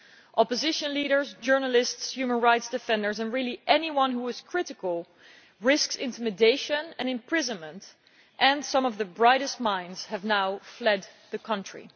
Opposition leaders, journalists, human rights defenders and really anyone who is critical risk intimidation and imprisonment, and some of the brightest minds have now fled the country.